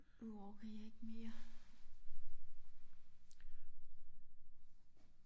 Nu orker jeg ikke mere